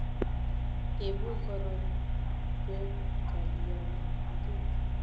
Ibu korotwek kalyangik